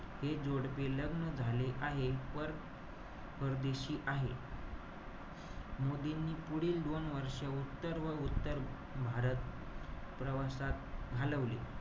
हे जोडपे लग्न झाले आहे. पर~ परदेशी आहे. मोदींनी पुढील दोन वर्ष, उत्तर व उत्तर भारत, प्रवासात घालवले.